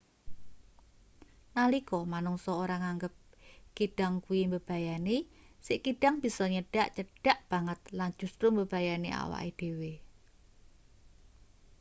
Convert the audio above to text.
nalika manungsa ora nganggep kidang kuwi mbebayani si kidang bisa nyedhak cedhak banget lan justru mbebayani awake dhewe